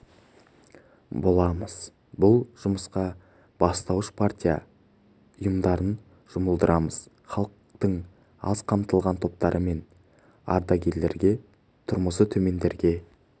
боламыз бұл жұмысқа бастауыш партия ұйымдарын жұмылдырамыз халықтың аз қамтылған топтары мен ардагерлерге тұрмысы төмендерге